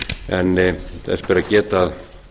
en þess ber að geta að